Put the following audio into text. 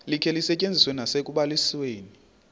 likhe lisetyenziswe nasekubalisweni